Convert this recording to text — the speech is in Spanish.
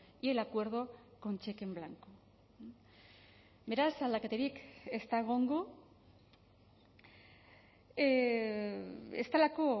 y el acuerdo con cheque en blanco beraz aldaketarik ez da egongo ez delako